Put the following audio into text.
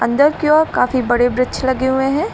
अंदर की ओर काफी बड़े वृक्ष लगे हुए हैं।